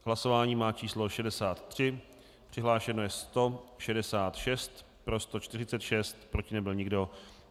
Hlasování má číslo 63, přihlášeno je 166, pro 146, proti nebyl nikdo.